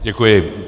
Děkuji.